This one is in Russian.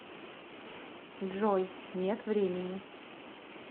джой нет времени